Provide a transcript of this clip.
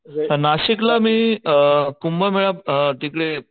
नाशिक ला मी कुंभमेळ्यात अ तिकडे,